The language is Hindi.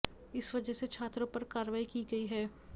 इस वजह से छात्रों पर कार्रवाई की गई है